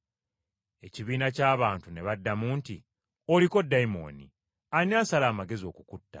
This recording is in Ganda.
Ekibiina ky’abantu ne baddamu nti, “Oliko dayimooni! Ani asala amagezi okukutta?”